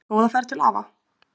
Góða ferð til afa.